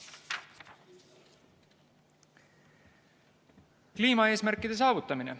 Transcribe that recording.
Kliimaeesmärkide saavutamine.